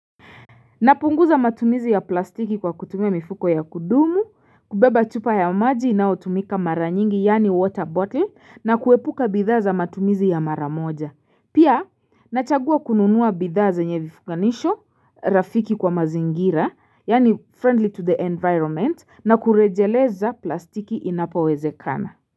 Napunguza matumizi ya plastiki kwa kutumia mifuko ya kudumu, kubeba chupa ya maji inayotumika mara nyingi yaani water bottle na kuepuka bidhaa za matumizi ya mara moja. Pia nachagua kununua bidhaa za zenye vifunganisho rafiki kwa mazingira yaani friendly to the environment na kurejeleza plastiki inapo wezekana.